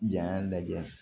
Jan lajɛ